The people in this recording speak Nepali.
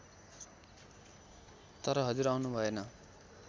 तर हजुर आउनु भएन